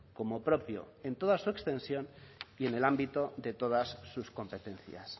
como propio en toda su extensión y en el ámbito de todas sus competencias